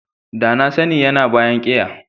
Da na sani yana a bayan keya.